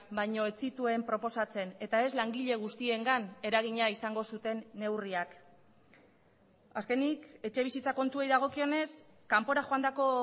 baino ez zituen proposatzen eta ez langile guztiengan eragina izango zuten neurriak azkenik etxebizitza kontuei dagokionez kanpora joandako